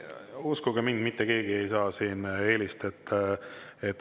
Uskuge mind, mitte keegi ei saa siin eelist.